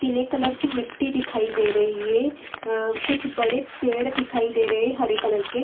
पीले कलर की मिट्टी दिखाई दे रही है अ कुछ बड़े पेड़ दिखाई दे रहे हरे कलर के।